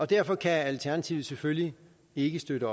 derfor kan alternativet selvfølgelig ikke støtte